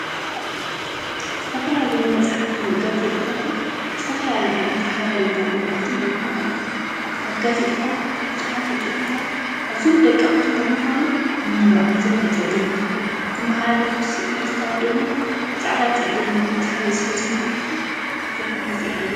ዝተፈለላዮ መፅሓፍትን ጋዜጣታትን ዝተፈላለየ ዓይነት ሓበሬታን መልእክትን የመሓላልፉ። ኣብ ጋዜጣታት እቲ ዝፀሓፉ ፅሑፋት ኣዝዮም ደቀቅቲ ብምኳኖም ንምንባብ ኣዝዮም መፀገምቲ እዮም። ዘመሓላለፉዎም ስእልታት ድማ ብፃዕዳን ፀሊምን ኣብዝሓ ግዜ ስለዝመሓላለፉ ቡዝሕ ግዜ አየረኣዩን።